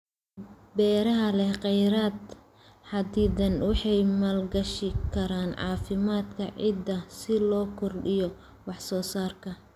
Beeraha leh kheyraad xaddidan waxay maalgashi karaan caafimaadka ciidda si loo kordhiyo wax soo saarka.